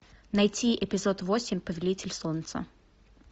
найти эпизод восемь повелитель солнца